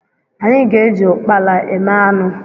Anyị ga-eji ụkpala eme anụ.